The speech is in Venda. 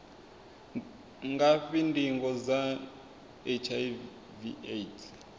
ngafhi ndingo dza hiv aids